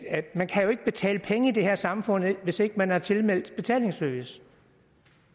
man kan jo ikke betale penge i det her samfund hvis ikke man er tilmeldt betalingsservice